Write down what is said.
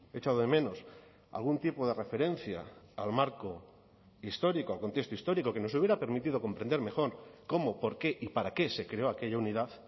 he echado de menos algún tipo de referencia al marco histórico al contexto histórico que nos hubiera permitido comprender mejor cómo por qué y para qué se creó aquella unidad